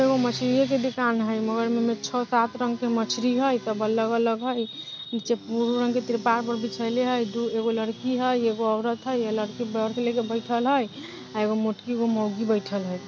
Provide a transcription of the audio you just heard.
इहो एगो मछरिये के दुकान हई मगर अइमे छ सात रंग के मछरि हइ सब अलग अलग हइ नीची ब्लू रंग के त्रिपाल पर बिचाइले हइ एगो लड़की हइ एगो औरत हइ एगो लड़की लेके बइठल हइ और एगो मोटकी एगो माउगि बइठल हई |